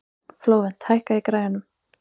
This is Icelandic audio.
Flóvent, hækkaðu í græjunum.